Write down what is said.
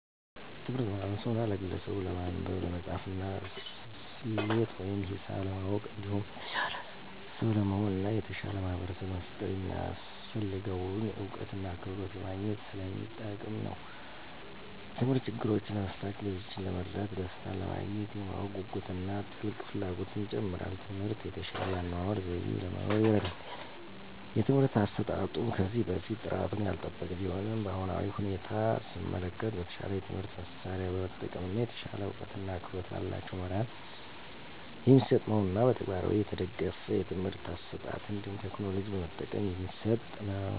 ትምህርት ለማህበርሰቡና ለግለሰቡች ለማንበብ፣ ለመፃፍና፣ ሰሌት ወይም ሂሳብ ለማወቅ እንዲሁም የተሻለ ሰው ለመሆን እና የተሻለ ማህበርሰብ ለመፍጠር የሚያሰፍልገውን እውቀትና ክህሎት ለማግኝት ሰለሚጠቅም ነው። ተምህርት ችግሮችን ለመፍታት፣ ሌሎችን ለመርዳት፣ ደሰታንለማግኘት፣ የማወቅ ጉጉትን እና ጥልቅ ፍላጎትን ይጨምራል። ትምህርት የተሻለ የአኗኗር ዘይቤ ለመኖር ይርዳል። የትምህርት አሰጣጡም ከዚህ በፊት ጥራቱን ያልጠበቀ ቢሆንም በአሁናዊ ሁኔታ ሰመለከት በተሻለ የትምህርት መሳርያ በመጠቀም እና የተሻለ እውቀትና ክህሎት በላቸው መምህራን የሚሰጥ መሆኑንና በተግባር የተደገፍ የትምህርት አሰጣጥ እንዲሁም ቴክኖሎጂ በመጠቀም የሚሰጥ ነው።